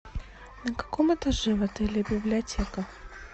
на каком этаже в отеле библиотека